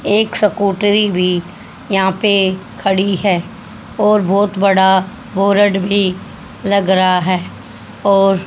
एक सकूटरी भी यहां पे खड़ी है और बहोत बड़ा बोरड बोर्ड भी लग रहा है और--